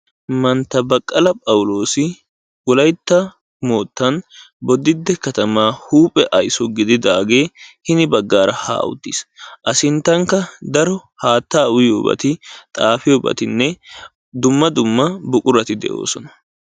Mantta Baqqala phawloossi wolaytta moottan bodditte katamaa huuphe ayso gididaagee hini baggaara haa uttiis. A sinttankka daro haattaa uyiyobati xaafiyobatinne dumma dumma buqurati de'oosona.